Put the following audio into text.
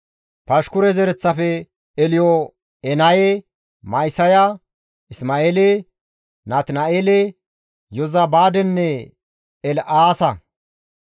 Pashkure zereththafe, Elyo7enaye, Ma7isaya, Isma7eele, Natina7eele, Yozabaadenne El7aasa;